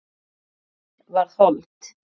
Orðið varð hold.